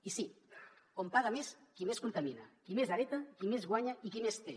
i sí on paga més qui més contamina qui més hereta qui més guanya i qui més té